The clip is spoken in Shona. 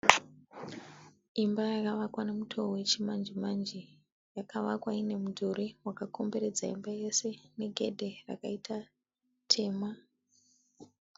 Imba yakavakwa nemutoo wechimanje-manje. Yakavakwa ine midhuri wakakomberedza imba yese negedhe rakaita dema.